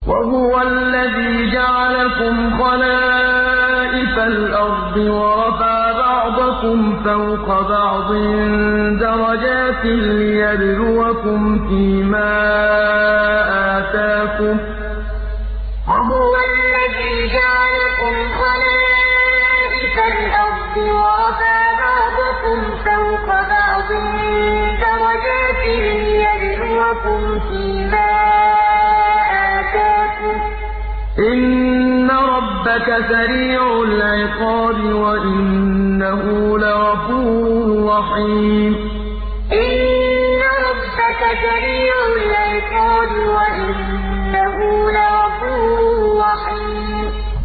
وَهُوَ الَّذِي جَعَلَكُمْ خَلَائِفَ الْأَرْضِ وَرَفَعَ بَعْضَكُمْ فَوْقَ بَعْضٍ دَرَجَاتٍ لِّيَبْلُوَكُمْ فِي مَا آتَاكُمْ ۗ إِنَّ رَبَّكَ سَرِيعُ الْعِقَابِ وَإِنَّهُ لَغَفُورٌ رَّحِيمٌ وَهُوَ الَّذِي جَعَلَكُمْ خَلَائِفَ الْأَرْضِ وَرَفَعَ بَعْضَكُمْ فَوْقَ بَعْضٍ دَرَجَاتٍ لِّيَبْلُوَكُمْ فِي مَا آتَاكُمْ ۗ إِنَّ رَبَّكَ سَرِيعُ الْعِقَابِ وَإِنَّهُ لَغَفُورٌ رَّحِيمٌ